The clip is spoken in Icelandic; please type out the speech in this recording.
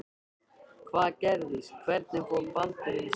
Hvað gerðist, hvernig fór Baldur yfir strikið?